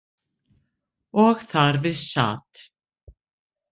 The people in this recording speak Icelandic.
Og þar við sat.